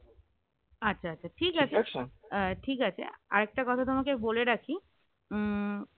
আচ্ছা আচ্ছা ঠিক আছে আহ ঠিক আছে আর একটা কথা তোমাকে বলে রাখি উম